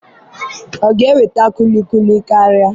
ọ ga-eweta kulikuli karịa?